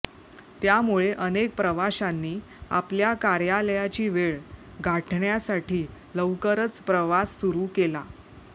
त्यामुळे अनेक प्रवाशांनी आपल्या कार्यालयाची वेळ गाठण्यासाठी लवकरच प्रवास सुरू केला